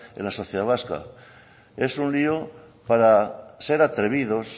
en la sociedad vasca es un lio para ser atrevidos